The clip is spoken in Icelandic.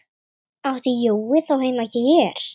Átti Jói þá heima hér?